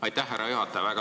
Aitäh, härra juhataja!